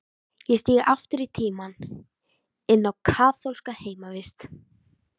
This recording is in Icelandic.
Ég stíg aftur í tímann, inn á kaþólska heimavist.